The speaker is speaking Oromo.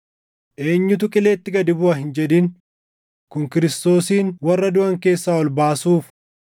“Yookaan, ‘Eenyutu qileetti gad buʼa?’ + 10:7 \+xt KeD 30:13\+xt* hin jedhin;” kun Kiristoosin warra duʼan keessaa ol baasuuf.